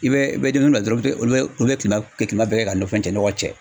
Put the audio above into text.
I bɛ i bɛ demisɛnin bila dɔrɔn olu olu bɛ kilema bɛɛ kɛ ka nɔgɔ cɛ.